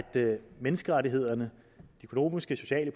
menneskerettighederne de økonomiske sociale